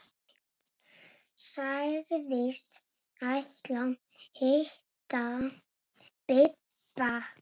Sagðist ætla að hitta Bibba.